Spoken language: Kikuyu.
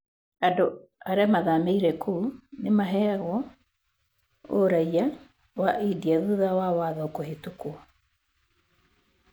Andũ arĩa mathamĩire kũu nĩ maheagwo ũraiya wa India thutha wa watho kũhĩtũkwo.